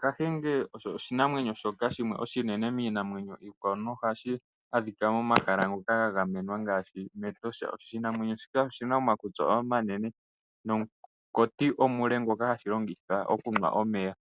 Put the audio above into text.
kahenge osho oshinamwenyo shoka oshinene miinamwenyo iikwawo, nohashi adhika momahala ngoka ga gamenwa ngaashi Etosha. Oshinamwenyo shino oshina omakutsi omanene nomunkati omule ngoka hashi longitha okunwa omeya.